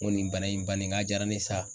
N ko nin bana in bannen n ko a diyara ne ye sa.